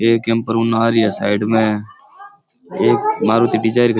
एक कैंपर उन्ने आ रही है साईड मै एक मारुति डिजायर भी --